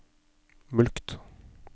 mulkt